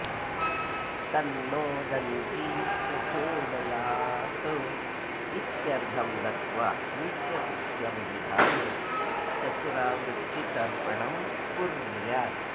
तन्नो दन्ती प्रचोदयात् इत्यर्घ्यं दत्वा नित्यकृत्यं विधाय चतुरावृत्तितर्पणं कुर्यात्